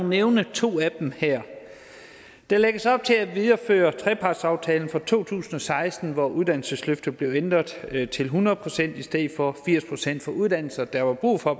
nævne to af dem her der lægges op til at videreføre trepartsaftalen fra to tusind og seksten hvor uddannelsesløftet blev ændret til hundrede procent i stedet for firs procent for uddannelser der var brug for